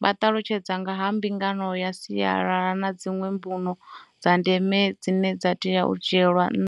vha ṱalutshedza nga ha mbingano ya sialala na dziṅwe mbuno dza ndeme dzine dza tea u dzhielwa nṱha.